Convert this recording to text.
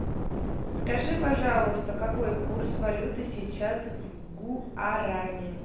скажи пожалуйста какой курс валюты сейчас в гуарани